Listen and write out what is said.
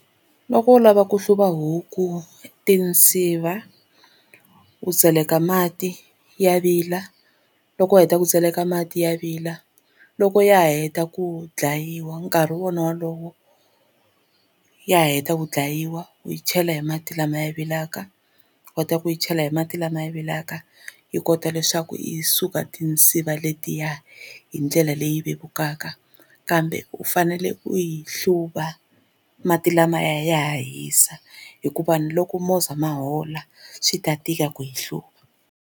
Loko u lava ku hluva huku tinsiva u tseleka mati ya vila loko u heta ku tseleka mati ya vila loko ya heta ku dlayiwa nkarhi wona wolowo ya heta ku dlayiwa u yi chela hi mati lamaya vilaka kotaka ku yi chela hi mati lama vilaka yi kota leswaku yi suka tinsiva letiya hi ndlela ya leyi vevukaka kambe u fanele u yi hluva mati lamaya ya ha hisa hikuva ni loko movha ma hola swi ta tika ku yi hluva.